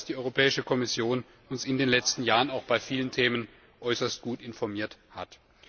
Ich glaube, dass die Europäische Kommission uns in den letzten Jahren auch bei vielen Themen äußerst gut informiert hat.